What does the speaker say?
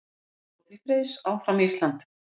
Skilaboð til Freys: Áfram Ísland!